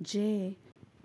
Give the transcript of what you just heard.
Je,